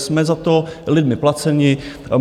Jsme za to lidmi placeni.